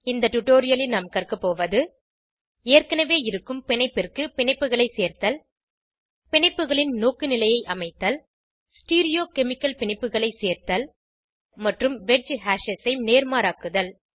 இந்த டுடோரியலில் நாம் கற்கபோவது ஏற்கனவே இருக்கும் பிணைப்பிற்கு பிணைப்புகளை சேர்த்தல் பிணைப்புகளின் நோக்குநிலையை அமைத்தல் ஸ்டீரியோகெமிகல் பிணைப்புகளை சேர்த்தல் மற்றும் வெட்ஜ் ஹேஷஸ் ஐ நேர்மாறாக்குதல்